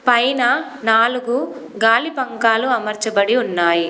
పైన నాలుగు గాలిపంకాలు అమర్చబడి ఉన్నాయి.